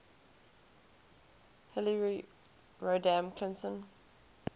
hillary rodham clinton